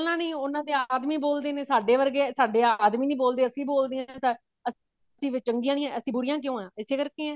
ਬੋਲਨਾ ਨੀ ਉਹਨਾ ਦੇ ਆਦਮੀ ਬੋਲਦੇ ਨੇ ਸਾਡੇ ਵਰਗੇ ਸਾਡੇ ਆਦਮੀ ਨੀ ਬੋਲਦੇ ਅਸੀਂ ਬੋਲਦੇ ਹਾਂ ਕਿਵੇਂ ਚੰਗੀਆਂ ਨੇ ਅਸੀਂ ਬੁਰੀਆਂ ਕਿਉਂ ਹਾਂ ਸੇ ਵਾਸਤੇ ਹਾਂ